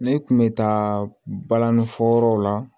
Ne kun bɛ taa balani fɔ yɔrɔw la